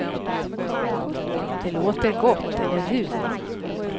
Det låter gott, eller hur.